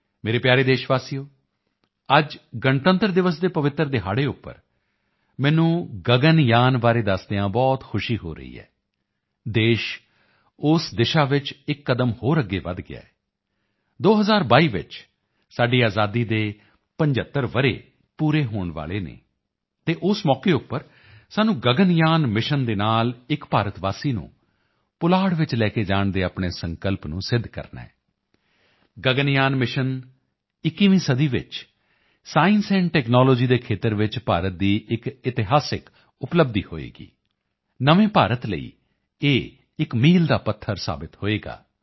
ਮੇਰੇ ਪਿਆਰੇ ਦੇਸ਼ਵਾਸੀਓ ਅੱਜ ਗਣਤੰਤਰ ਦਿਵਸ ਦੇ ਪਵਿੱਤਰ ਦਿਹਾੜੇ ਉੱਪਰ ਮੈਨੂੰ ਗਗਨਯਾਨ ਬਾਰੇ ਦੱਸਦਿਆਂ ਬਹੁਤ ਖੁਸ਼ੀ ਹੋ ਰਹੀ ਹੈ ਦੇਸ਼ ਉਸ ਦਿਸ਼ਾ ਵਿੱਚ ਇੱਕ ਕਦਮ ਹੋਰ ਅੱਗੇ ਵਧ ਗਿਆ ਹੈ 2022 ਚ ਸਾਡੀ ਆਜ਼ਾਦੀ ਦੇ 75 ਵਰ੍ਹੇ ਪੂਰੇ ਹੋਣ ਵਾਲੇ ਹਨ ਅਤੇ ਉਸ ਮੌਕੇ ਉੱਪਰ ਸਾਨੂੰ ਗਗਨਯਾਨ ਮਿਸ਼ਨ ਦੇ ਨਾਲ ਇੱਕ ਭਾਰਤਵਾਸੀ ਨੂੰ ਪੁਲਾੜ ਵਿੱਚ ਲੈ ਕੇ ਜਾਣ ਦੇ ਆਪਣੇ ਸੰਕਲਪ ਨੂੰ ਸਿੱਧ ਕਰਨਾ ਹੈ ਗਗਨਯਾਨ ਮਿਸ਼ਨ 21ਵੀਂ ਸਦੀ ਵਿੱਚ ਸਾਇੰਸ ਐਂਡ ਟੈਕਨਾਲੋਜੀ ਦੇ ਖੇਤਰ ਵਿੱਚ ਭਾਰਤ ਦੀ ਇੱਕ ਇਤਿਹਾਸਿਕ ਉਪਲੱਬਧੀ ਹੋਵੇਗਾ ਨਵੇਂ ਭਾਰਤ ਲਈ ਇਹ ਇੱਕ ਮੀਲ ਦਾ ਪੱਥਰ ਸਾਬਤ ਹੋਵੇਗਾ